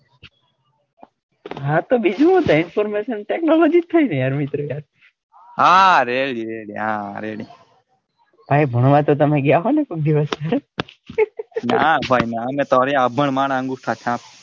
હા તો બીજું હું થાય information technology થાય ને યાર મિત્ર યાર હા ready ready હા ready આય ભણવા તો ગયા હોય ને કોઈ દિવસ ના ભાઈ ના અમે તો અભણ માણસ અંગૂઠા છાપ.